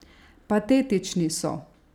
Patetični so!